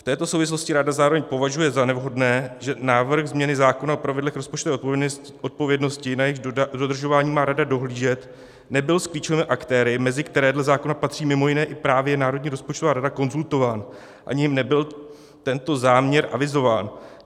V této souvislosti rada zároveň považuje za nevhodné, že návrh změny zákona o pravidlech rozpočtové odpovědnosti, na jejichž dodržování má rada dohlížet, nebyl s klíčovými aktéry, mezi které dle zákona patří mimo jiné i právě Národní rozpočtová rada, konzultován, ani jim nebyl tento záměr avizován.